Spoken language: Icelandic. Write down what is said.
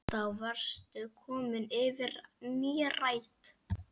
Þá varstu komin yfir nírætt.